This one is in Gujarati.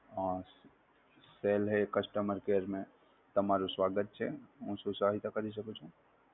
હાં, પહલે customer care મે, તમારું સ્વાગત છે. હું શું સહાયતા કરી શકું છું?